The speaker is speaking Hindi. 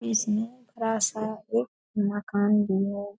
इसमे बड़ा-सा एक मकान भी है।